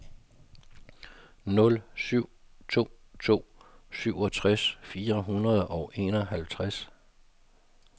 nul syv to to syvogtres fire hundrede og enoghalvtreds